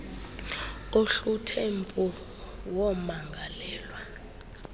ohluthe umpu wommangalelwa